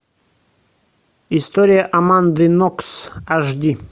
история аманды нокс аш ди